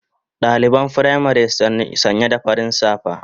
Daliban firamari sanya da farin safa